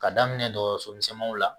Ka daminɛ dɔgɔso misɛnmaninw la